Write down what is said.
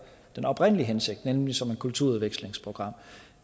den oprindelige hensigt nemlig som et kulturudvekslingsprogram